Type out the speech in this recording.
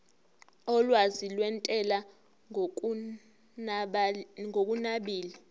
olwazi lwentela ngokunabile